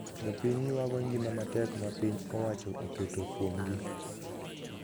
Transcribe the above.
Jopiny ywago ngima matek ma piny owacho oketo kuom gi